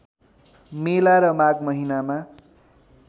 मेला र माघ महिनामा